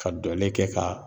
Ka dɔlen kɛ ka